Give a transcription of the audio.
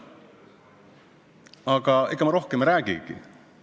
Aga ega ma rohkem ei räägigi.